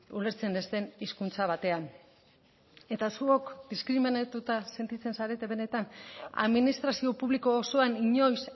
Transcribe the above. ulertzen ez den hizkuntza batean eta zuok diskriminatuta sentitzen zarete benetan administrazio publiko osoan inoiz